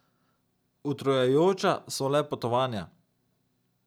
Utrujajoča so le potovanja.